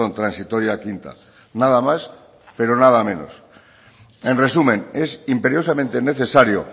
transitoria quinta nada más pero nada menos en resumen es imperiosamente necesario